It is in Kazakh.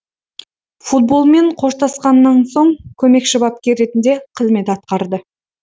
футболмен қоштасқаннан соң көмекші бапкер ретінде қызмет атқарды